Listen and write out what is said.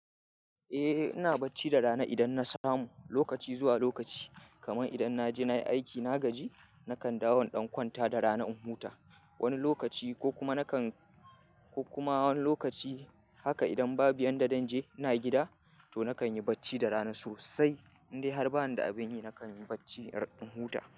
Eh ina bacci da rana idan na samu, lokaci zuwa lokaci. Kaman idan na je na yi aiki na gaji, nakan dawo in ɗan kwanta da rana in huta. Wani lokaci ko kuma nakan, ko kuma wani lokaci haka idan babu biyan da zan je ina gida to nakan yi bacci da rana sosai. Indai har ba ni da abin yi nakan yi bacci har in huta.